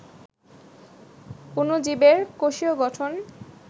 অণুজীবের কোষীয় গঠন